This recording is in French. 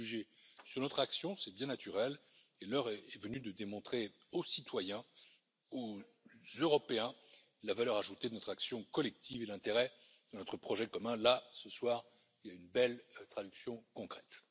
Nous sommes jugés sur notre action, c'est bien naturel, et l'heure est venue de démontrer aux citoyens, aux Européens, la valeur ajoutée de notre action collective et l'intérêt de notre projet commun, là ce soir, il y en a une belle traduction concrète.